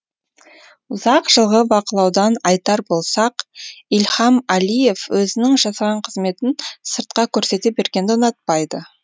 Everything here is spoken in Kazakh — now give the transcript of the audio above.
ұзақ жылғы бақылаудан айтар болсақ ильхам әлиев өзінің жасаған қызметін сыртқа көрсете бергенді ұнатпайды